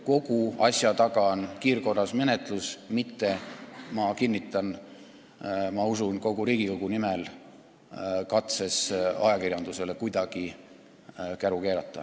Kogu asja taga on kiirkorras menetlus, mitte – ma usun, et võin seda kinnitada kogu Riigikogu nimel – katse ajakirjandusele kuidagi käru keerata.